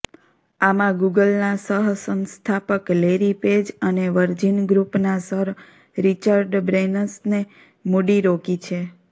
આમાં ગૂગલના સહ સંસ્થાપક લેરી પેજ અને વર્જિન ગ્રૂપના સર રિચર્ડ બ્રેનસને મૂડી રોકી છે